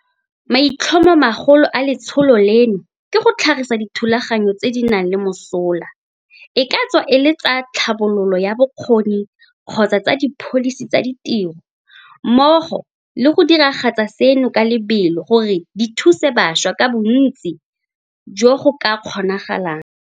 Maitlhomomagolo a letsholo leno ke go tlhagisa dithulaganyo tse di nang le mosola, e ka tswa e le tsa tlhabololo ya bokgoni kgotsa tsa dipholisi tsa ditiro, mmogo le go diragatsa seno ka lebelo gore di thuse bašwa ka bontsi jo go ka kgonagalang.